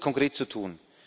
Was ist konkret zu tun?